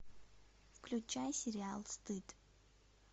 включай сериал стыд